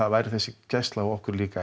væri þessi gæsla á okkur líka